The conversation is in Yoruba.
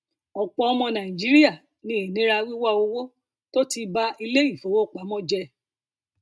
ọpọ ọmọ nàìjíríà ní ìnira wíwá owó tó ti ba iléifowopamọ jẹ